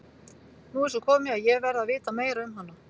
Nú er svo komið að ég verð að vita meira um hana.